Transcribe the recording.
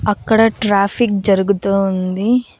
అక్కడ ట్రాఫిక్ జరుగుతూ ఉంది.